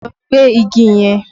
Lọ gbẹ́ igi yẹn!